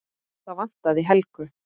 Það vantaði Helgu.